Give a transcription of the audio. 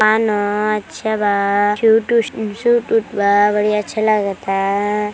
दुकान ह। अच्छा बा शु शूट बूट बा बड़ी अच्छा लागता।